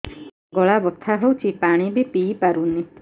ଗଳା ବଥା ହଉଚି ପାଣି ବି ପିଇ ପାରୁନି